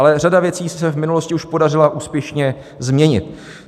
Ale řada věci se v minulosti už podařila úspěšně změnit.